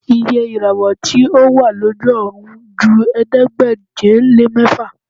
Iye ìràwọ̀ tí ó wà lójú ọ̀run ju ẹ̀ẹ́dégbèje-lé-mẹ́fà